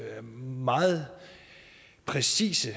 her meget præcise